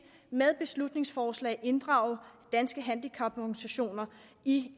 med beslutningsforslag kan inddrage danske handicaporganisationer i